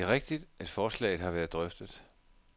Det er rigtigt, at forslaget har været drøftet.